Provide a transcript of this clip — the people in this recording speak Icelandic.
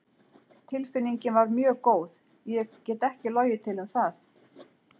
Tilfinningin var mjög góð, ég get ekki logið til um það.